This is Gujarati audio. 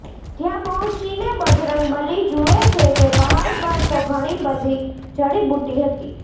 ત્યાં પહોંચીને બજરંગબલી જુએ છે કે પહાડ પર તો ઘણી બધી જડીબુટી હતી